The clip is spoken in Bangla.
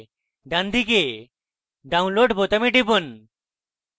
ডানদিকে download বোতামে টিপুন